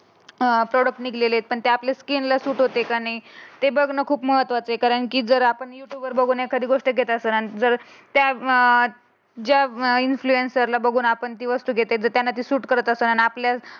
Product निघाले. ते आपल्याला सहन होते की नाही. ते बघ ना खूप महत्त्वाचे कारण की आपण तुम्ही बघून जर एखादी गोष्ट केली असेल. त्या अं ज्या इंप्लूसन बघून आपण